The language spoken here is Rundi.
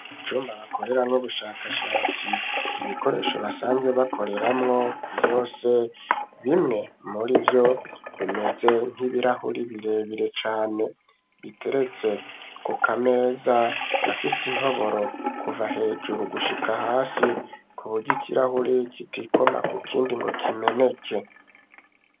Jumba bakoreramwo ubushakashatsi ibikoresho basanze bakoreramwo vyose bimwe muri vyo bimeze nkibirahuri birebire cane biteretse ku kameza gafise intoboro kuva hejuru gushika hasi ku bugya ikirahuri gitiko ma kukia indi ngo kimeneke.